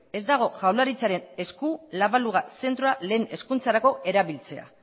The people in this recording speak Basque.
ez dago jaurlaritzaren esku la baluga zentroa lehen hezkuntzarako erabiltzea